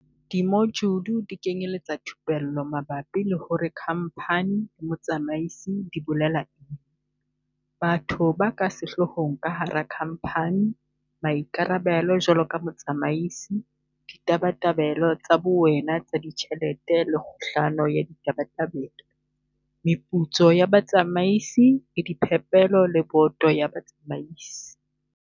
Dimojule di kenyeletsa thupello mabapi le hore kha mphani le motsamaisi di bolela, batho ba ka sehloohong ka hara khamphani, maikarabelo jwaloka motsamaisi, ditabatabelo tsa bowena tsa ditjhelete le kgohlano ya ditabatabelo, meputso ya batsamaisi le diphepelo le boto ya batsamaisi.